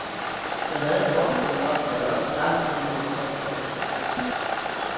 Jeg havde en forestilling om, at også pressen ville holde sommerferie.